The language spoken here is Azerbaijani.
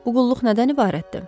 Bu qulluq nədən ibarətdir?